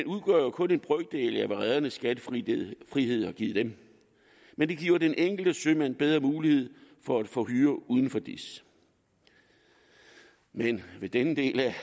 udgør jo kun en brøkdel af det som redernes skattefrihed har givet dem men det giver den enkelte sømand bedre mulighed for at få hyre uden for dis men i denne del